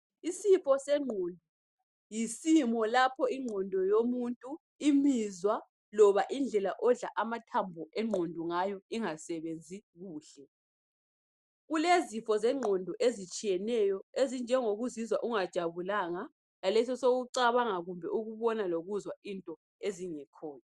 Isifo sengqondo yisimo lapho ingqondo yomuntu, imizwa loba indlela odla amathambo engqondo ingasebenzi kuhle. Kulezifo zengqondo ezitshiyeneyo ezinjengo kuzizwa ungajabulanga leleso esokucabanga kumbe ukubona izinto ezingekhoyo